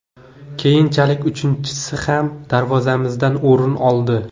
Keyinchalik uchinchisi ham darvozamizdan o‘rin oldi.